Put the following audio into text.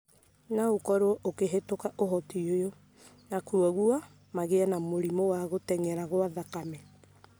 no ũkorũo ũkĩhĩtũka ũhoti ũyũ, na kwoguo magĩe na mũrimũ wa gũtenyera gwa thakame.